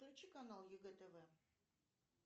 включи канал егэ тв